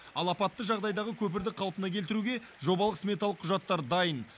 ал апатты жағдайдағы көпірді қалпына келтіруге жобалық сметалық құжаттар дайын